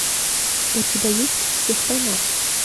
у тебя есть всех поймал